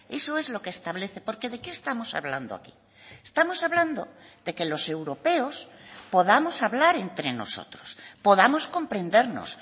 eso es lo que establece por qué de qué estamos hablando aquí estamos hablando de que los europeos podamos hablar entre nosotros podamos comprendernos